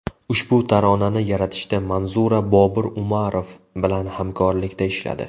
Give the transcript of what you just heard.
Ushbu taronani yaratishda Manzura Bobur Umarov bilan hamkorlikda ishladi.